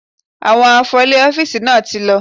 Àwọn afọlè ọ́fíìsì náà ti lọ.